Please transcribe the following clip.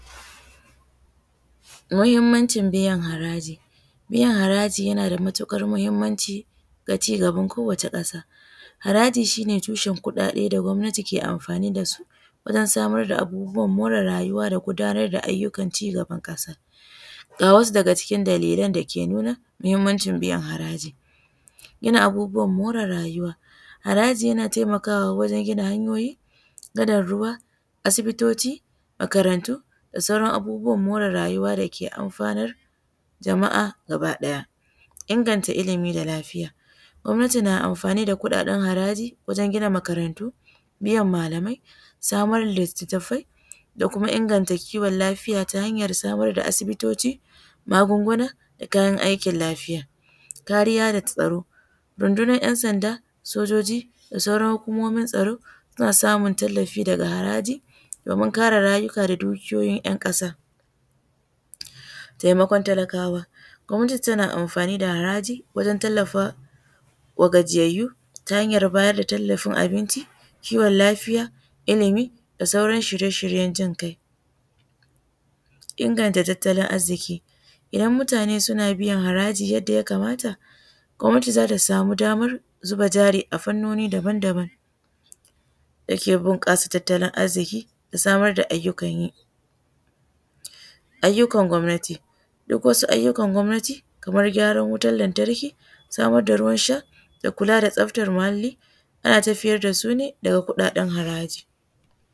Muhimmancin biyan haraji, biyan haraji na da matuƙar mahimmanci ga ci gabn kowacce ƙasa. Haraji shi ne tushen kuɗaɗe da gwamnatin ke amfani da su wajen samar abubuwan mare rayuwa da gudanar da ayyukan ci gan kasa. Ga wasu daga cikin dalilan da suke nuna muhimmanci biyan haraji ga rayuwa. Harajiyana taimakawa wajen gina hanyoyi gadan ruwa, asibitoci, makarantu da sauran abubuwan mare rayuwa dake amfanar jama'a gaba ɗaya. Inganta ilimi da lafiya, gwamnati na amfani da kuɗaɗen haraji wajen gina makarantu, biyan malamai da samar da littattafai da samar da kiwon lafiya da tahanyar samar da asibitoci magunguna da kayan aiki lafiya. Kariya da tsaro, rundunar 'yan sanda da sojoji da sauran hukumomin tsaron suna samun tallafi faga haraji domin kare rayuka da duniyoyin ‘yan ƙasa. Taimakon talakawa, gwamnati na amfani da haraji wajen tallafa wa gajiyayyu ta hanyar tallafawa kiwon lafiya, ilimin da sauran shirye-shiryen jin ƙai. Inganta tattalin arziki, idan mutane suna biyan haraji yadda ya kamata gwamnati za ta sama damar zuba jari a fannoni daban-daban da ke bunƙasa tattalin arziki da samar da ayyukan yi. Ayyukan gwamnati, duk wasu ayyukan gwamnati da gyaran wutar lantarki da samar daruwan sha da kula da tsaftar muhalli ana tafiyar da su ne daga kuɗaɗen haraji.